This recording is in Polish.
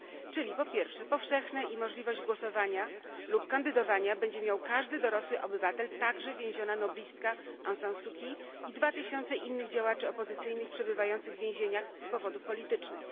Czyli, po pierwsze, powszechne, gdzie możliwość głosowania lub kandydowania będzie miał każdy dorosły obywatel, także więziona noblistka Aung San Suu Kyi i dwa tysiące innych działaczy opozycyjnych przebywających w więzieniach z powodów politycznych.